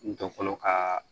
Dɔnku fɔlɔ kaa